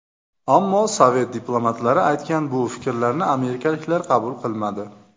Ammo sovet diplomatlari aytgan bu fikrlarni amerikaliklar qabul qilmadi.